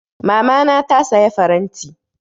Mamana ta saya faranti.